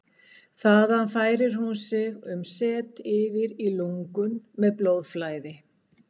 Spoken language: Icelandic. Þaðan færir hún sig um set yfir í lungun með blóðflæði.